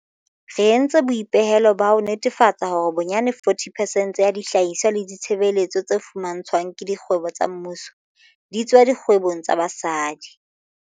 Re entse boipehelo ba ho netefatsa hore bonyane 40 percent ya dihlahiswa le ditshebeletso tse fumantshwang ke dikgwebo tsa mmuso di tswa dikgwebong tsa basadi.